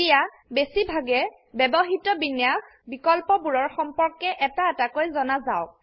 এতিয়া বেছি ভাগে ব্যবহৃত বিন্যাস বিকল্পবোৰৰ সম্পৰ্কে এটা এটাকৈ জনাযাওক